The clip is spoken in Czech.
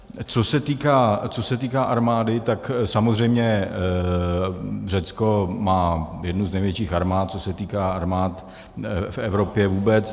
Co se týká armády, tak samozřejmě Řecko má jednu z největších armád, co se týká armád v Evropě vůbec.